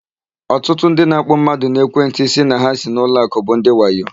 Ọtụtụ ndị na-akpọ mmadụ n'ekwentị sị na ha si n'ụlọakụ bụ ndị wayo.